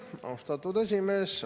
Aitäh, austatud esimees!